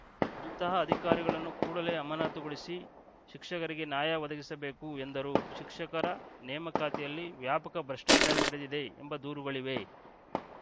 ಅಂತಹ ಅಧಿಕಾರಿಗಳನ್ನು ಕೂಡಲೇ ಅಮಾನತುಗೊಳಿಸಿ ಶಿಕ್ಷಕರಿಗೆ ನ್ಯಾಯ ಒದಗಿಸಬೇಕು ಎಂದರು ಶಿಕ್ಷಕರ ನೇಮಕಾತಿಯಲ್ಲಿ ವ್ಯಾಪಕ ಭ್ರಷ್ಟಾಚಾರ ನಡೆದಿದೆ ಎಂಬ ದೂರುಗಳಿವೆ